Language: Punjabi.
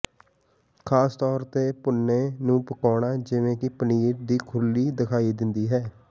ਖ਼ਾਸ ਤੌਰ ਤੇ ਭੁੰਨੇ ਨੂੰ ਪਕਾਉਣਾ ਜਿਵੇਂ ਕਿ ਪਨੀਰ ਦੀ ਖੁਰਲੀ ਦਿਖਾਈ ਦਿੰਦੀ ਹੈ